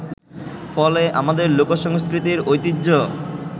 ফলে আমাদের লোকসংস্কৃতির ঐতিহ্য